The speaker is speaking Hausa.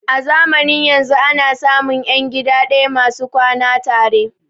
A zamanin yanzun ana samun ƴan gida ɗaya masu kwana tare